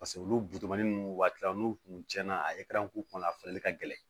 Paseke olu ninnu waati n'u kun tiɲɛna a k'u kunna a falen ka gɛlɛn